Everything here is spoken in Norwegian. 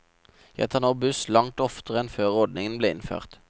Jeg tar nå buss langt oftere enn før ordningen ble innført.